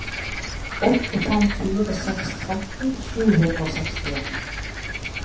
åtte fem fire seks tretten sju hundre og sekstien